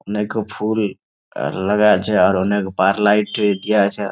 অনেক ফুল আ লাগা আছে আর অনেক বার লাইট দিয়া আছে ।